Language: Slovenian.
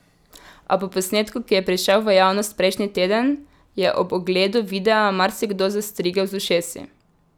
A po posnetku, ki je prišel v javnost prejšnji teden, je ob ogledu videa marsikdo zastrigel z ušesi.